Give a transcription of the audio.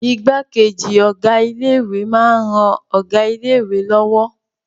Igbákejì Ọ̀gá ilé ìwé máa ń ran Ọ̀gá ilé lọ́wọ́